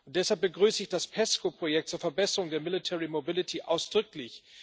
Deshalb begrüße ich das PESCO Projekt zur Verbesserung der Military Mobility ausdrücklich.